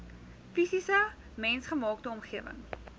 fisiese mensgemaakte omgewing